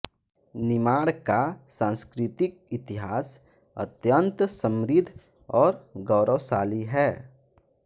निमाड़ का सांस्कृतिक इतिहास अत्यन्त समृद्ध और गौरवशाली है